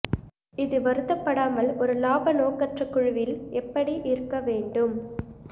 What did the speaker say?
இது வருத்தப்படாமல் ஒரு லாப நோக்கற்ற குழுவில் எப்படி இருக்க வேண்டும்